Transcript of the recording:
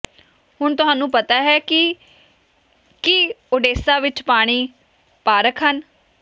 ਹੁਣ ਤੁਹਾਨੂੰ ਪਤਾ ਹੈ ਕਿ ਕੀ ਓਡੇਸਾ ਵਿੱਚ ਪਾਣੀ ਪਾਰਕ ਹਨ